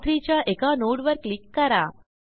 र3 च्या एका nodeवर क्लिक करा